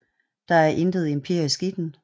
Der er intet empirisk i den